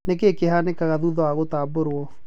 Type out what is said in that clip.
Nĩkĩ kĩhanĩkaga thutha wa gũtabũrwo.